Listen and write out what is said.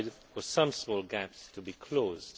for some small gaps to be closed.